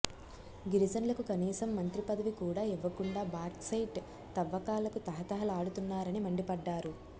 గిరిజనులకు కనీసం మంత్రి పదవి కూడా ఇవ్వకుండా బాక్సైట్ తవ్వకాలకు తహతహ లాడుతు న్నారని మండిపడ్డారు